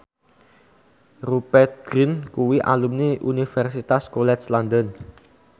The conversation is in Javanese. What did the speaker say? Rupert Grin kuwi alumni Universitas College London